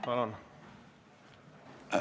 Palun!